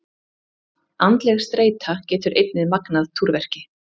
Andleg streita getur einnig magnað túrverki.